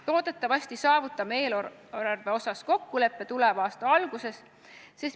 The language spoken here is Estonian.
Loodetavasti saavutame eelarves kokkuleppe tuleva aasta alguses.